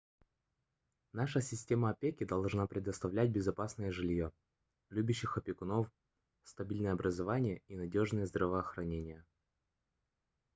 наша система опеки должна предоставлять безопасное жильё любящих опекунов стабильное образование и надёжное здравоохранение